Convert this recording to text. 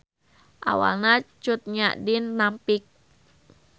Awalna Cut Nyak Dhien nampik